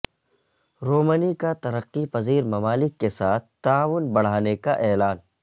Romney کا ترقی پذیر ممالک کے ساتھ تعاون بڑھانے کا اعلان